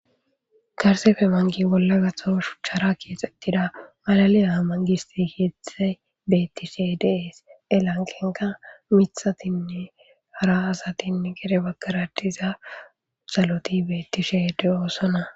Gariseppe bolla gatho shuchchara kexetida malaliya manigiste keththayi bettishshe de'ees.hee laniqennka miththatinne hara asati gede i bagara diza xaloti betishshe de'osonna .